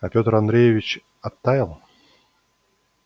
а пётр андреевич оттаял